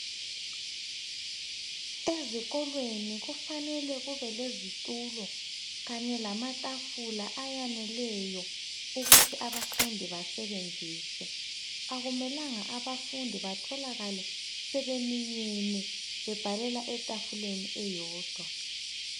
ezikolweni kufanele kube lezitulo kanye lamatafula ayaneleyo ukuthi abafundi basebenzise akumelanga abafundi batholakale sebeminyene bebhalela etafuleni eyodwa